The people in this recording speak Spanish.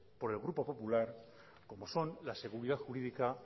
por el grupo popular como son la seguridad jurídica